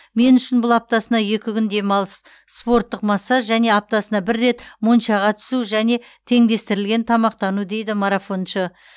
мен үшін бұл аптасына екі күн демалыс спорттық массаж және аптасына бір рет моншаға түсу және теңдестірілген тамақтану дейді марафоншы